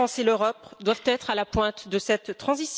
La France et l'Europe doivent être à la pointe de cette transition.